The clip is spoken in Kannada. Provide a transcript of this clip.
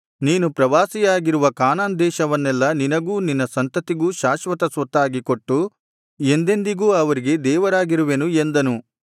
ನೀನು ಪ್ರವಾಸಿಯಾಗಿರುವ ಕಾನಾನ್ ದೇಶವನ್ನೆಲ್ಲಾ ನಿನಗೂ ನಿನ್ನ ಸಂತತಿಗೂ ಶಾಶ್ವತ ಸ್ವತ್ತಾಗಿ ಕೊಟ್ಟು ಎಂದೆಂದಿಗೂ ಅವರಿಗೆ ದೇವರಾಗಿರುವೆನು ಎಂದನು